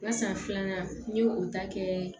Basan filanan n ye o ta kɛ